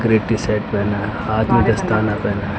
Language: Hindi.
ग्रे टी-शर्ट पहना है। हाथ में दस्ताना पहना है।